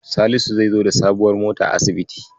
Salisu zai zo da sabuwar mota asibiti.